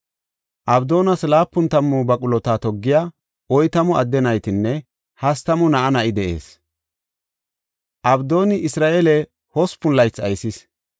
Abdoonas laapun tammu baqulota toggiya oytamu adde naytinne hastamu na7a na7i de7ees. Abdooni Isra7eele hospun laythi aysis.